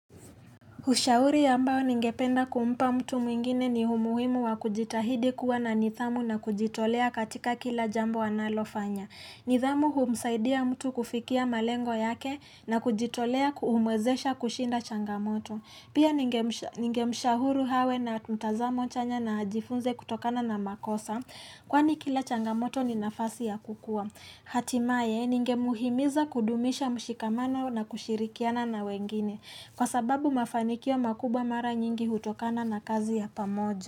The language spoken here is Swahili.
Ushauri ambao ningependa kumpa mtu mwingine ni umuhimu wa kujitahidi, kuwa na nidhamu na kujitolea katika kila jambo analo fanya. Nidhamu humsaidia mtu kufikia malengo yake na kujitolea kumwezesha kushinda changamoto. Pia ningemshahuri awe na mtazamo chanya na ajifunze kutokana na makosa kwani kila changamoto ni nafasi ya kukua. Hatimaye ninge muhimiza kudumisha mshikamano na kushirikiana na wengine. Kwa sababu mafanikio makubwa mara nyingi hutokana na kazi ya pamoja.